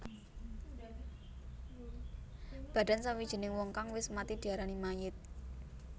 Badan sawijining wong kang wis mati diarani mayit